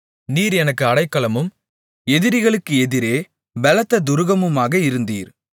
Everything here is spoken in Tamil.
நீர் எனக்கு அடைக்கலமும் எதிரிகளுக்கு எதிரே பெலத்த துருகமுமாக இருந்தீர்